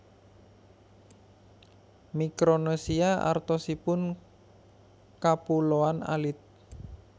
Mikronesia artosipun kapuloan alit